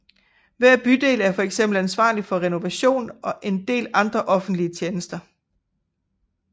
Hver bydel er for eksempel ansvarlig for renovation og en del andre offentlige tjenester